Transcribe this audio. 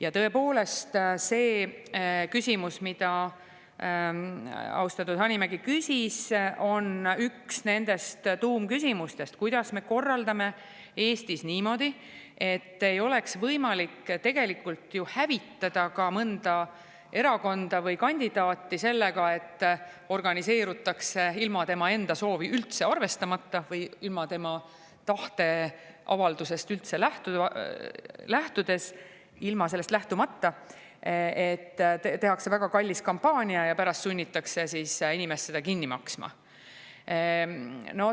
Ja tõepoolest, see küsimus, mille austatud Hanimägi küsis, on üks nendest tuumküsimustest: kuidas me korraldame Eestis niimoodi, et ei oleks võimalik hävitada mõnda erakonda või kandidaati sellega, et organiseerutakse ilma tema enda soovi arvestamata või ilma tema tahteavaldusest lähtumata, tehakse väga kallis kampaania ja pärast sunnitakse inimest seda kinni maksma?